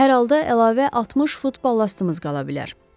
Hər halda əlavə 60 funt balastımız qala bilər.